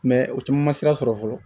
o caman ma sira sɔrɔ fɔlɔ